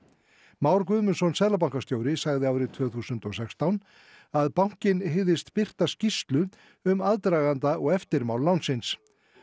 Már Guðmundsson seðlabankastjóri sagði árið tvö þúsund og sextán að bankinn hygðist birta skýrslu um aðdraganda og eftirmál lánsins